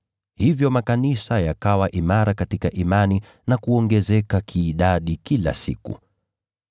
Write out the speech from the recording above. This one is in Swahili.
Hivyo makanisa yakawa imara katika imani na kuongezeka kiidadi kila siku.